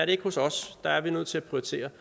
det ikke hos os der er vi nødt til at prioritere